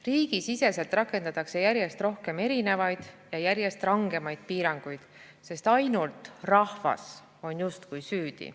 Riigisiseselt rakendatakse järjest rohkem erinevaid ja järjest rangemaid piiranguid, sest ainult rahvas on justkui süüdi.